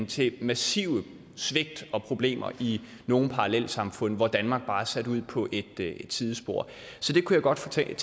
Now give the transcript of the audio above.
til massive svigt og problemer i nogle parallelsamfund hvor danmark bare er sat ud på et sidespor så jeg kunne godt tænke